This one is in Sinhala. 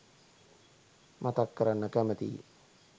මතක් කරන්න කැමතියි.